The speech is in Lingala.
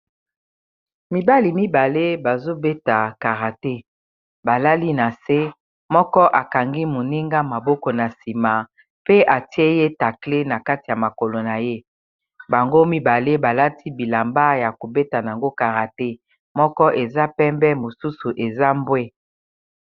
Mibali mibale bazobeta karate balali na se moko akangi moninga maboko na nsima pe atie ye tacle na kati ya makolo na ye bango mibale balati bilamba ya kobeta na yango karate moko eza pembe mosusu eza mbwe.